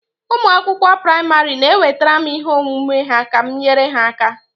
Ụmụ akwụkwọ praịmarị na-ewetara m ihe omume ha ka m nyere ha aka